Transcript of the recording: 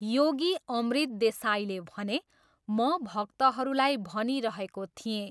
योगी अमृत देसाईले भने, 'म भक्तहरूलाई भनिरहेको थिएँ।'